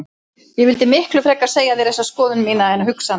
Ég vildi miklu frekar segja þér þessa skoðun mína en hugsa hana.